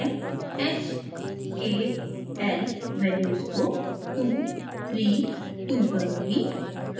मैं h k l values को 232 करुँगी